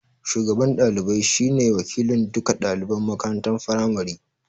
Shugaban ɗalibaj shi ne wakilin duka ɗaliban makarantar firamari